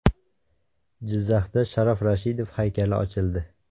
Jizzaxda Sharof Rashidov haykali ochildi .